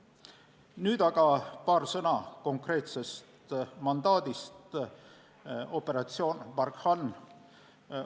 Nüüd aga paar sõna konkreetsest mandaadist, operatsioonist Barkhane.